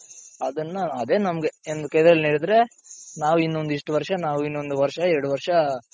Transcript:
ಅದನ್ನ ಅದೇ ನಮ್ಗೆ ಇನ್ನು ಕೆರೆಯಲ್ಲಿ ನೀರಿದ್ರೆ ನಾವ್ ಇನ್ನೊಂದ್ ಇಷ್ಟ್ ವರ್ಷ ನಾವಿನ್ನೂಂದ್ ವರ್ಷ ಎರಡ್ ವರ್ಷ,